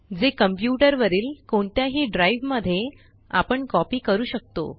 जे कंप्यूटर वरील कोणत्याही ड्राइव मध्ये आपण कॉपी करू शकतो